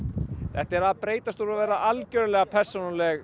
þetta er að breytast úr því að vera algerlega persónuleg